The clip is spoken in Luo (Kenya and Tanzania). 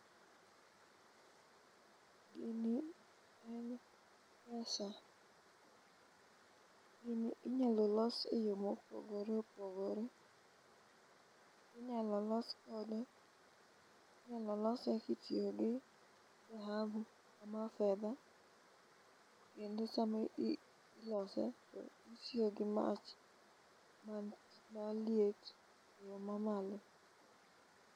Gini en pesa gini inyalo los e yo mopogore opogore ,inyalo los kode inyalo lose kitiyo gi dhahabu ama fedha kendo sama ilose itiyo gi mach maliet e yo mamalo